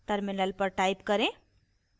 terminal पर type करें